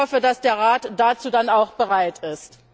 Ich hoffe, dass der Rat dazu dann auch bereit ist.